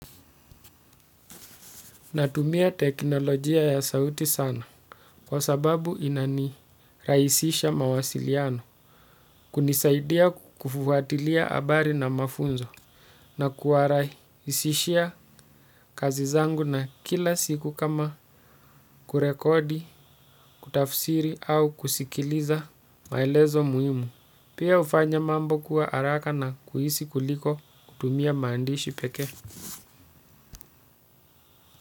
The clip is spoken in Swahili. Natumia teknolojia ya sauti sana kwa sababu inanirahisisha mawasiliano kunisaidia kufuatilia habari na mafunzo na kuwarahisishia kazi zangu na kila siku kama kurekodi, kutafsiri au kusikiliza maelezo muhimu. Pia hufanya mambo kuwa haraka na kuhisi kuliko kutumia maandishi pekee.